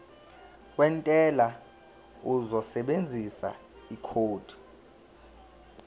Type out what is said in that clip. wentela uzosebenzisa ikhodi